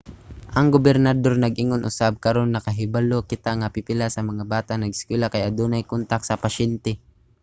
ang gobernador nag-ingon usab karon nakahibalo kita nga pipila sa bata nga nag-eskwela kay adunay kontak sa pasyente.